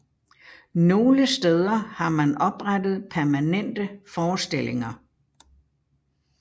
Nogle steder har man oprettet permanente forestillinger